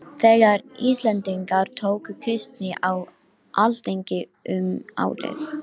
Þegar Íslendingar tóku kristni á alþingi um árið